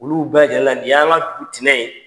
Olu bɛɛ lajɛlen na nin y'an ŋa dugu tinɛ ye.